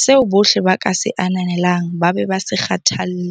seo bohle ba ka se ananelang ba be ba se kgathalle.